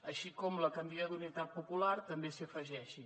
així com que la candidatura d’unitat popular també s’hi afegeixi